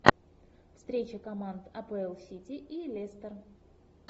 встреча команд апл сити и лестер